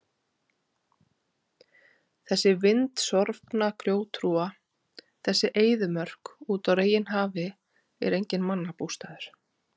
Þessi vindsorfna grjóthrúga, þessi eyðimörk úti á reginhafi er enginn mannabústaður.